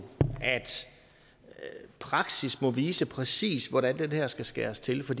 at praksis må vise præcis hvordan det her skal skæres til for